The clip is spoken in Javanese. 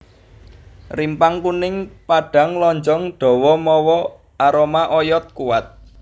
Rimpang kuning padhang lonjong dawa mawa aroma oyod kuwat